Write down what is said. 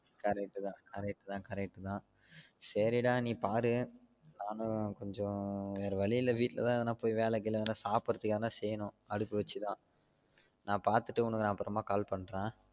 Correct தான் correct தான் correct தான் சரி டா நீ பாரு நானும் கொஞ்சம் வேற வலி இல்ல வீட்டுல தான் எத்னா வேல கீழ எனா சாப்டுரதுக்கு எதனா செய்யணும் அடுப்பு வச்ஜசி தான் நான் பாத்துட்டு உனக்கு அப்புறம் ஆஹ் cal பண்றன்